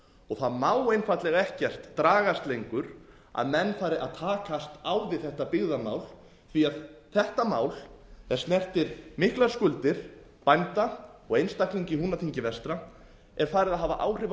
samfélagi það má einfaldlega ekkert dragast lengur að menn fari að takast á við þetta byggðamál því þetta mál er snertir miklar skuldir bænda og einstaklinga í húnaþingi vestra er farið að hafa áhrif á